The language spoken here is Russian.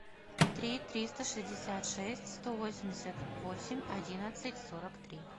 три триста шестьдесят шесть сто восемьдесят восемь одиннадцать сорок три